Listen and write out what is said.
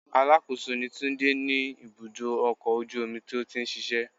Alákòóso ni Túndé ní ibùdó ọkọ̀ ojú omi tó ti ń ṣíṣe.